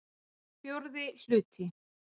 IV hluti